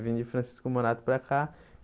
Vim de Francisco Morato para cá.